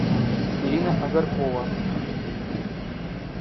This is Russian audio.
ирина агаркова